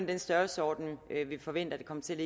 den størrelsesorden vi forventer at det kommer til